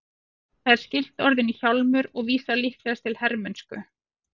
Það er skylt orðinu hjálmur og vísar líklegast til hermennsku.